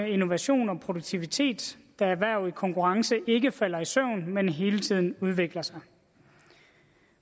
innovation og produktivitet da erhverv i konkurrence ikke falder i søvn men hele tiden udvikler sig